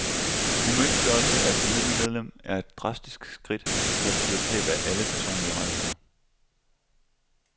Umyndiggørelse af et familiemedlem er et drastisk skridt, der betyder tab af alle personlige rettigheder.